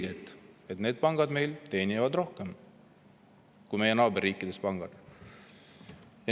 Te näete siis selgelt, et pangad teenivad meil rohkem kui pangad meie naaberriikides.